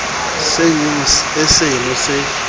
se nw e seno se